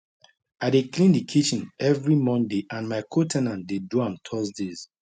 i dey clean the kitchen every monday and my co ten ant dey do am thursdays